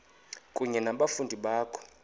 kunye nabafundi bakho